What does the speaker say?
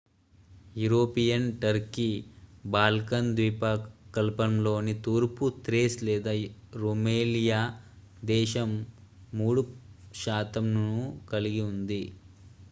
European Turkey Balkan ద్వీపకల్పంలోని తూర్పు Thrace లేదా రుమేలియా దేశం 3% ను కలిగి ఉంది